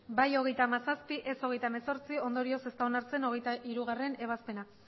bai hogeita hamazazpi ez hogeita hemezortzi ondorioz ez da onartzen hogeita hirugarrena ebazpena